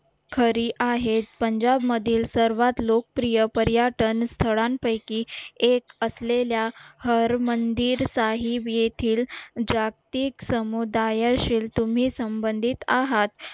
खरी आहेत पंजाब मधील सर्वात लोकप्रिय पर्यटन स्थळांपैकी एक असलेल्या हर मंदिर साहेब येथील जागतिक समुदाय असेल तुम्ही संबंधित आहात